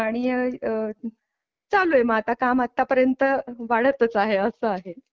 आणि आह चालू आहे आता काम आत्तापर्यंत वाढतच आहे असं आहे.